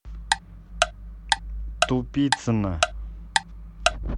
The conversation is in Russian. тупицина